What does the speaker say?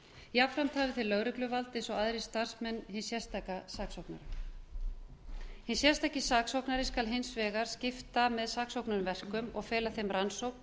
jafnframt hafi þeir lögregluvald eins og aðrir starfsmenn hins sérstaka saksóknara hinn sérstaki saksóknari skal hins vegar skipta með saksóknurum verkum og fela þeim rannsókn